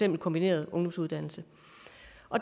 en kombineret ungdomsuddannelse